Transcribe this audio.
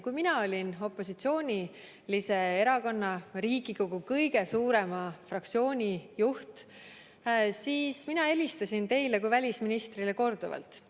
Kui mina olin opositsioonilise erakonna, Riigikogu kõige suurema fraktsiooni juht, siis ma helistasin teile kui välisministrile korduvalt.